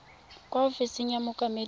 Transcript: kwa ofising ya mookamedi wa